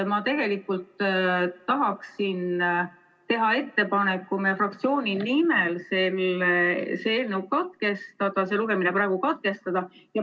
Ma tahaksin teha meie fraktsiooni nimel ettepaneku selle eelnõu lugemine praegu katkestada.